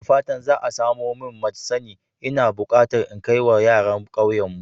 Da fatan za a samo min maj sani. Ina bukata in kai wa yaran kauyenmu.